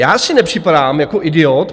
Já si nepřipadám jako idiot.